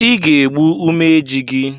I ga-egbu umeji gị!